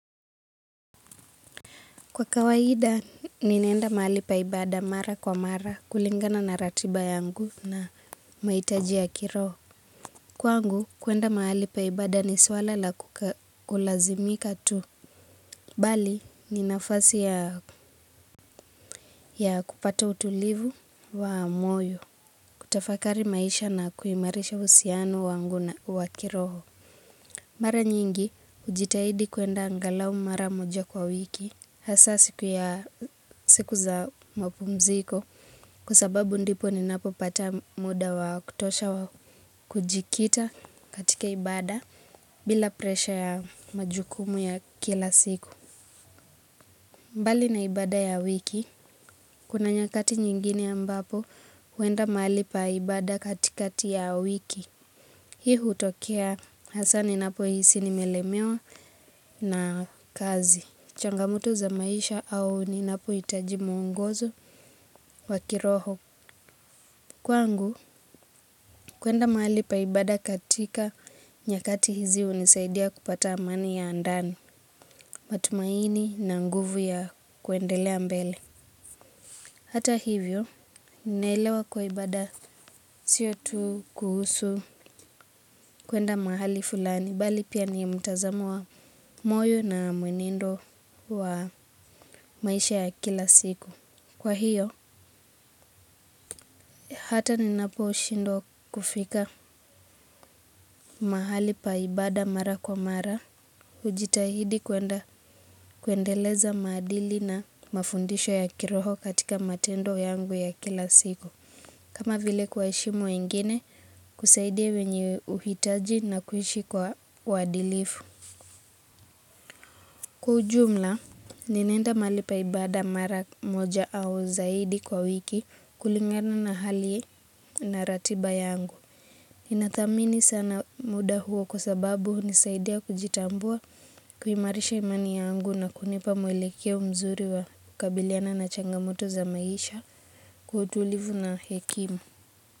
Kwa kawaida, ninaenda mahali paibada mara kwa mara kulingana na ratiba yangu na mahitaji ya kiroho. Kwangu, kuenda mahali paibada ni swala la kulazimika tu. Bali, ni nafasi ya kupata utulivu wa moyo, kutafakari maisha na kuimarisha uhusiano wangu na wa kiroho. Mara nyingi hujitahidi kuenda angalau mara moja kwa wiki hasa siku ya siku za mapumziko kwa sababu ndipo ni napo pata muda wa kutosha wa kujikita katika ibada bila presha ya majukumu ya kila siku. Mbali na ibada ya wiki, kuna nyakati nyingine ambapo huenda mahali pa ibada katikati ya wiki. Hii hutokea hasa ni napo hisi nimelemewa na kazi. Changamoto za maisha au ni napo hitaji mwongozo wa kiroho. Kwangu, kuenda mahali pa ibada katika nyakati hizi hunisaidia kupata amani ya ndani, matumaini na nguvu ya kuendelea mbele. Hata hivyo, ninaelewa kuwa ibada siyo tu kuhusu kuenda mahali fulani, bali pia ni mtazamo wa moyo na mwenendo wa maisha ya kila siku. Kwa hiyo, hata ninapo shindwa kufika mahali pa ibada mara kwa mara, hujitahidi kuenda kuendeleza maadili na mafundisho ya kiroho katika matendo yangu ya kila siku. Kama vile kuwa heshimu wengine kusaidia wenye uhitaji na kuishi kwa uadilifu. Kwa ujumla, ninaenda mahali paibada mara moja au zaidi kwa wiki kulingana na hali na ratiba yangu. Ninathamini sana muda huo kwa sababu hunisaidia kujitambua kuimarisha imani yangu na kunipa muelekeo mzuri wa kukabiliana na changamoto za maisha kwa utulivu na hekimu.